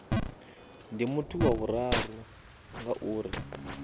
ndi muthu wa vhuraru ngauri